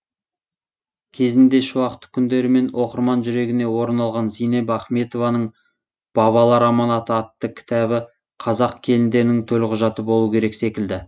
кезінде шуақты күндерімен оқырман жүрегінен орын алған зейнеп ахметованың бабалар аманаты атты кітабы қазақ келіндерінің төлқұжаты болу керек секілді